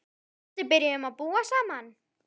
Við Gústi byrjuðum að búa saman.